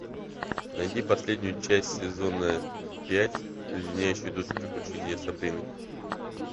найди последнюю часть сезона пять леденящие душу приключения сабрины